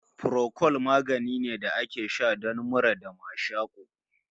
Furokol magani ne da ake sha don mura da mashaƙo